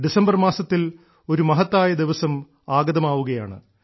December മാസത്തിൽ ഒരു മഹത്തായ ദിവസം ആഗതമാവുകയാണ്